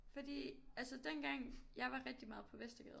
Fordi altså dengang jeg var rigtig meget på Vestergade